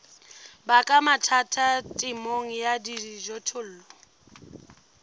baka mathata temong ya dijothollo